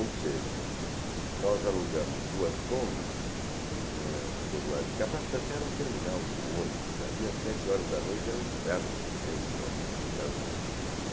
Ou seja, nós alugamos duas combis, né, ficou do lado de cá, a Praça da Sé era um terminal de ônibus, ali às sete horas da noite era um inferno de gente, uma multidão.